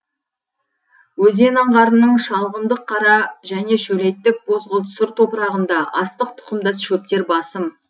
өзен аңғарының шалғындық қара және шөлейттік бозғылт сұр топырағында астық тұқымдас шөптер басым